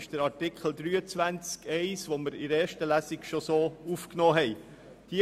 Dies steht in Artikel 23 Absatz 1, den wir bereits in der ersten Lesung so aufgenommen haben.